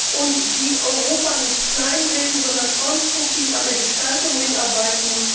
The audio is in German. und die Europa nicht kleinreden, sondern konstruktiv an der Gestaltung mitarbeiten.